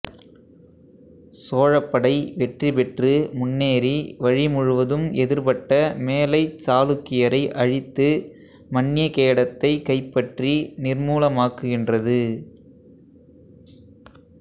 சோழப்படை வெற்றி பெற்று முன்னேறி வழி முழுவதும் எதிர்பட்ட மேலைச் சாளுக்கியரை அழித்து மன்யகேடத்தைக் கைப்பற்றி நிர்மூலமாக்குகின்றது